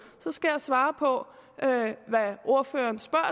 så skal jeg svare på hvad ordføreren spørger